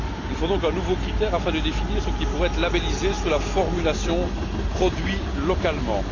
Il faut donc un nouveau critère afin de définir ce qui pourrait être labellisé sous la formulation produit localement.